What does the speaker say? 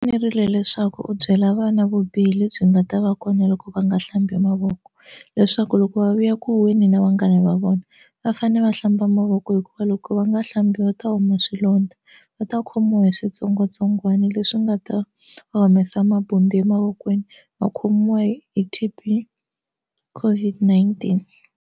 Fanerile leswaku u byela vana vubihi lebyi nga ta va kona loko va nga hlambi mavoko leswaku loko va vuya ku huhweni na vanghana va vona va fane va hlamba mavoko hikuva loko va nga hlambi va ta huma swilondza va ta khomiwa hi switsongwatsongwana leswi nga ta va humesa mabundzu emavokweni va khomiwa hi hi T_B COVID-19.